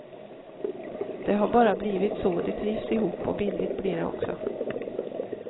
Det har bara blivit så, de trivs ihop och billigt blir det också.